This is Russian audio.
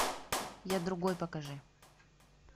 я другой покажи